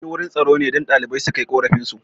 Anyi wurin tsaro ne don ɗalibai suna kai korafin su